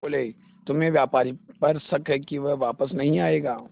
बोले तुम्हें व्यापारी पर शक है कि वह वापस नहीं आएगा